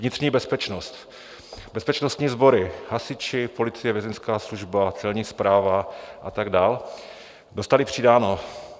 Vnitřní bezpečnost - bezpečnostní sbory, hasiči, policie, vězeňská služba, Celní správa a tak dál - dostaly přidáno.